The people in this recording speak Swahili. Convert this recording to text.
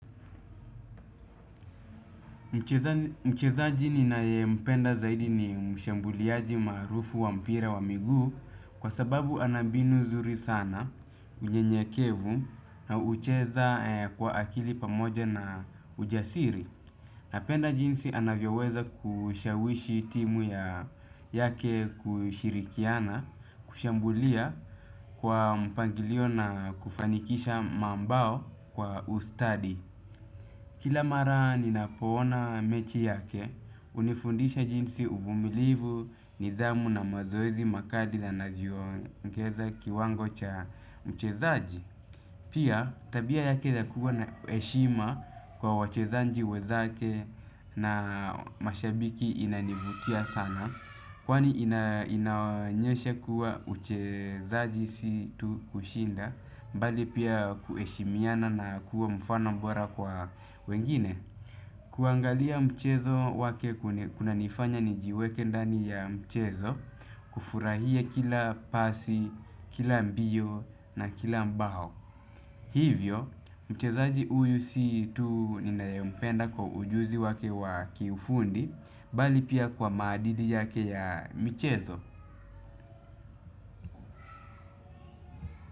Mchezaji ninayempenda zaidi ni mshambuliaji maarufu wa mpira wa miguu kwa sababu ana mbinu zuri sana unyenyekevu na hucheza kwa akili pamoja na ujasiri. Napenda jinsi anavyoweza kushawishi timu ya yake kushirikiana kushambulia kwa mpangilio na kufanikisha mabao kwa ustadi. Kila mara ninapoona mechi yake, hunifundisha jinsi uvumilivu, nidhamu na mazoezi makali yanavyoongeza kiwango cha mchezaji. Pia tabia yake ya kuwa na heshima kwa wachezaji wenzake na mashabiki inanivutia sana. Kwani inaonyesha kuwa uchezaji si tu kushinda mbali pia kuheshimiana na kuwa mfano bora kwa wengine. Kuangalia mchezo wake kunanifanya nijiweke ndani ya mchezo. Kufurahia kila pasi, kila mbio na kila bao. Hivyo, mchezaji huyu si tu ninayempenda kwa ujuzi wake wa kiufundi bali pia kwa maadidi yake ya michezo.